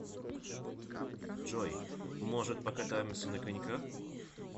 джой может покатаемся на коньках